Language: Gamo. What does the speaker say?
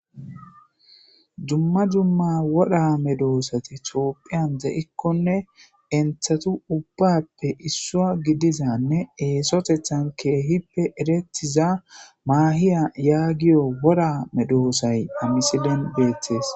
Dumma dumma wora medoosati tophphiyani deikkonne eyinitatu ubbappe adiza dumma esotethani kehippe eretiza mahiyo yagiza wora medoosayi ha misiliyani beettesi